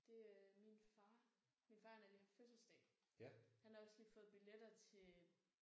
Det øh min far min far han har lige haft fødselsdag. Han har også lige fået billetter til